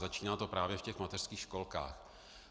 Začíná to právě v těch mateřských školkách.